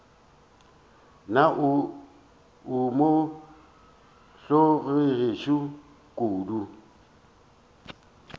na o mo hlologetše kodu